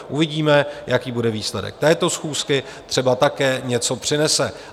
Uvidíme, jaký bude výsledek této schůzky, třeba také něco přinese.